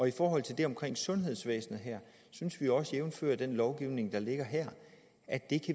i forhold til det omkring sundhedsvæsenet synes jeg også jævnfør den lovgivning der ligger her at